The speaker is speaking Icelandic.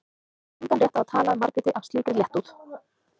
Hann hafði engan rétt á að tala um Margréti af slíkri léttúð.